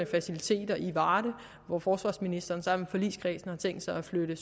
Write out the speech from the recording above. faciliteter i varde hvor forsvarsministeren sammen med forligskredsen har tænkt sig at flytte